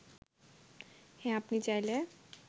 হ্যাঁ আপনি চাইলে